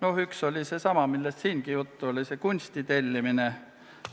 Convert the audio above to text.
Üks teema oli seesama, millest siingi juttu oli – kunsti tellimine.